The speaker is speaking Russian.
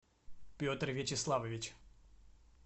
петр вячеславович